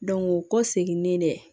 o kɔ seginnen dɛ